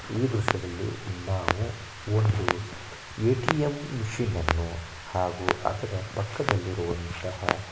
ಈ ದೃಶ್ಯದಲ್ಲಿ ನಾವು ಒಂದು ಎ.ಟಿ.ಎಂ ಮಷೀನ್ ಅನ್ನು ಹಾಗೂ ಅದರ ಪಕ್ಕದಲ್ಲಿರುವಂತಹ --